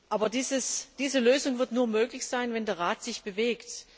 Aber diese Lösung wird nur möglich sein, wenn der Rat sich bewegt.